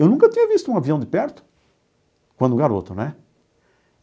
Eu nunca tinha visto um avião de perto quando garoto, né?